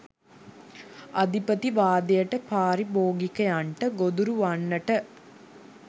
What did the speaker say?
අධිපතිවාදයට පාරිභෝගිකයන්ට ගොදුරු වන්නට